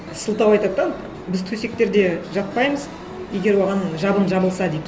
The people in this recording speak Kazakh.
сылтау айтады да біз төсектерде жатпаймыз егер оған жабын жабылса дейді